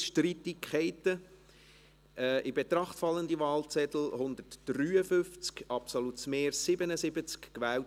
Ich bitte Herrn Bürki die drei Schwurfinger der rechten Hand zu erheben und mir die folgenden Worte nachzusprechen: